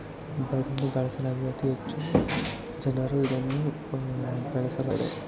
ಬಳಸಲಾಗಿದೆ ಅತಿ ಹೆಚ್ಚು ಜನರು ಇದನ್ನು ಬೆಳೆಸಲಾಗಿದೆ .